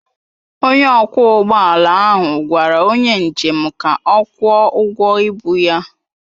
Onye ọkwọ ụgbọ ala ahụ gwara onye njem ka ọ kwụọ ụgwọ ịbu ya.